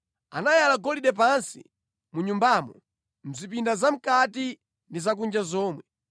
Anayala golide pansi mu Nyumbamo mʼzipinda zamʼkati ndi zakunja zomwe.